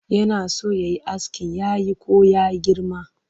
Yana so ya yi askin yayi ko ya girma?